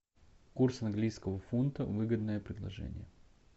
курс английского фунта выгодное предложение